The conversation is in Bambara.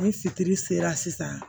Ni fitiri sera sisan